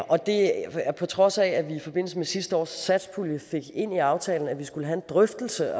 og det er på trods af at vi i forbindelse med sidste års satspulje fik ind i aftalen at vi skulle have en drøftelse